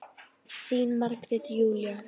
Þín Margrét Júlía.